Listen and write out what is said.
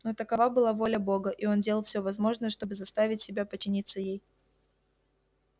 но такова была воля бога и он делал всё возможное чтобы заставить себя подчиниться ей